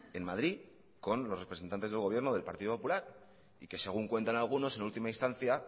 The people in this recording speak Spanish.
en madrid con los representantes del gobierno del partido popular y que según cuentan algunos en última instancia